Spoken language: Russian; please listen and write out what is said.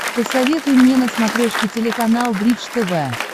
посоветуй мне на смотрешке телеканал бридж тв